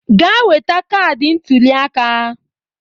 Gaa weta kaadị ntụliaka!